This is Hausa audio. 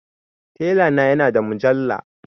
Tela na ya na da mujalla